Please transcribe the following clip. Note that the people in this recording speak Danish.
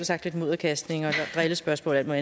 sagt lidt mudderkastning drillespørgsmål og